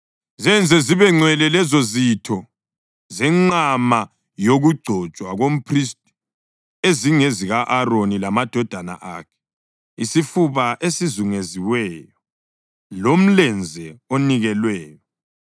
Zenze zibengcwele lezozitho zenqama yokugcotshwa komphristi ezingezika-Aroni lamadodana akhe, isifuba esizunguziweyo lomlenze onikelweyo.